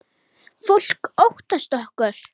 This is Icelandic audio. Fólk óttast okkur.